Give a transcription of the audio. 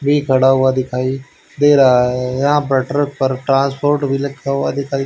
भी खड़ा हुआ दिखाई दे रहा है यहां पर ट्रक पर ट्रांसपोर्ट भी लिखा हुआ दिखाई--